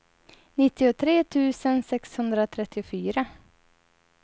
nittiotre tusen sexhundratrettiofyra